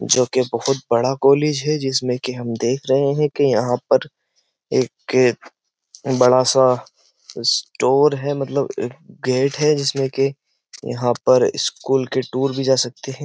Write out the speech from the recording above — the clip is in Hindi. जो के बोहोत बड़ा कॉलेज है जिसमें कि हम देख रहे हैं कि यहां पर एक बड़ा-सा स्टोर है मतलब एक गेट है जिसमें के यहाँ पर स्कूल के टूर भी जा सकते हैं।